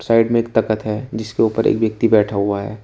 Side में एक तख्त है जिसके ऊपर एक व्यक्ति बैठा हुआ है।